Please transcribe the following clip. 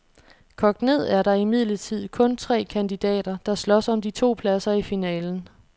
Kogt ned er der imidlertid kun tre kandidater, der slås om de to pladser i finalen.